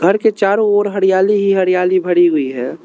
घर के चारों ओर हरियाली ही हरियाली भरी हुई है।